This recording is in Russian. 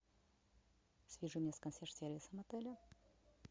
свяжи меня с консьерж сервисом отеля